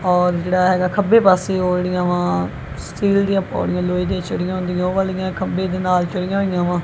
ਔਰ ਜਿਹੜਾ ਹੈਗਾ ਖੱਬੇ ਪਾਸੇ ਉਹ ਜਿਹੜੀਆਂ ਵਾ ਸਟੀਲ ਦੀਆਂ ਪੌੜੀਆਂ ਲੋਹੇ ਦੇ ਚੜੀਆਂ ਹੁੰਦੀਆਂ ਉਹ ਵਾਲੀਆਂ ਖੰਬੇ ਦੇ ਨਾਲ ਚਰੀਆ ਚੜੀਅ ਹੋਈਆਂ ਵਾ।